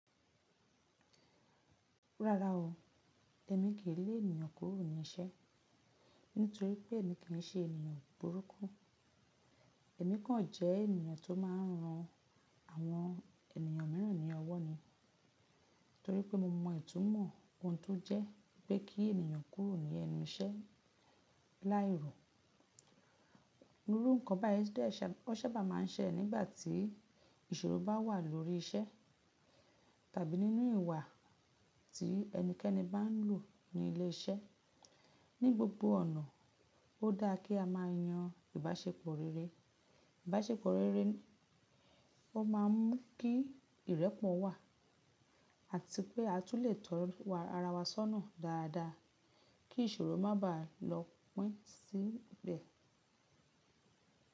Rárá o, èmi kì í lé ènìyàn kúrò ní iṣẹ́, nítorí pé èmi kì í ṣe ènìyàn burúkú. Èmi kàn jẹ́ ènìyàn tó máa ń ran àwọn ènìyàn mìíràn ní ọwọ́ ni, torí pé mo mọ ìtúmọ̀ ohun tó jẹ́ pé kí ènìyàn kúrò ní ẹnu iṣẹ́ láìrọ̀. Iru nǹkan báyìí ṣé bá máa ń ṣẹ nígbà tí ìṣòro bá wà lórí iṣẹ́ tàbí nínú ìwà tí ẹnikẹ́ni bá ń lò ní ilé iṣẹ́. Ni gbogbo ọ̀nà, ó dáa kí a máa yan ìbáṣepọ̀ rere. Ìbáṣepọ̀ rere ó máa ń mú kí ìrẹ́pọ̀ wà, àti pé a tún lè tọọ ara wa sọ́nà dáadáa kí ìṣòro má bàá lọ pín sílẹ̀.